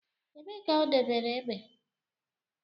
Ebee ka o debere egbe?